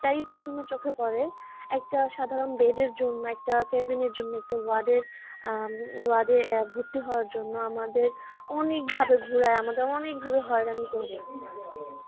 এটাই প্রথমে চোখে পড়ে একটা সাধারণ bed জন্য একটা cabin র জন্য ward এ আহ ward এ ভর্তি হওয়ার জন্য আমাদের অনেকভাবে ঘোরাই আমাদের অনেক ভাবে হয়রানি করে